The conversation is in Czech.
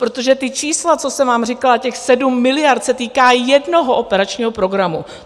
Protože ta čísla, co jsem vám říkala, těch 7 miliard, se týká jednoho operačního programu.